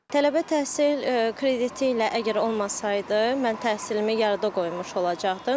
Tələbə təhsil krediti ilə əgər olmasaydı, mən təhsilimi yarıda qoymuş olacaqdım.